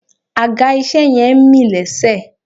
Àga ìṣe yẹn ń mì lésẹ̀